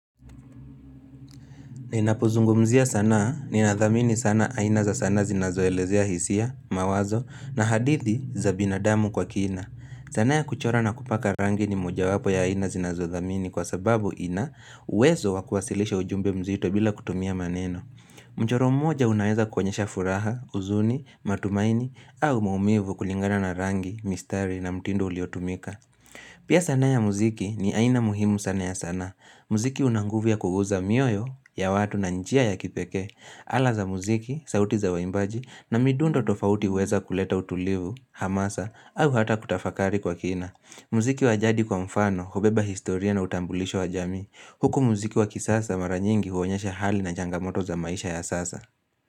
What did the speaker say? Ninapozungumzia sanaa ninadhamini sana aina za sanaa zinazoelezea hisia, mawazo, na hadithi za binadamu kwa kina. Sanaa ya kuchora na kupaka rangi ni moja wapo ya aina zinazodhamini kwa sababu ina uwezo kwasilisha ujumbe mzito bila kutumia maneno. Mchoro mmoja unaweza kwenyesha furaha, uzuni, matumaini, au maumivu kulingana na rangi, mistari na mtindo uliotumika. Pia sanaa ya muziki ni aina muhimu sana ya sanaa, muziki unanguvia kuguza mioyo ya watu na njia ya kipekee, ala za muziki, sauti za waimbaji na midundo tofauti uweza kuleta utulivu, hamasa, au hata kutafakari kwa kina. Mziki wa jadi kwa mfano, hobeba historia na utambulisho wa jamii, huku muziki wa kisasa mara nyingi huonyesha hali na changamoto za maisha ya sasa.